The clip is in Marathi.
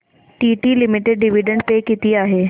टीटी लिमिटेड डिविडंड पे किती आहे